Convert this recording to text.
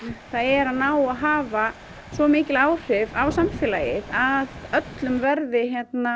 það er að ná að hafa svo mikil áhrif á samfélagið að öllum verði